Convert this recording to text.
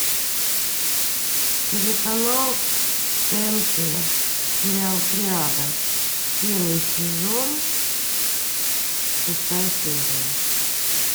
телеканал тнт сериал триада первый сезон шестая серия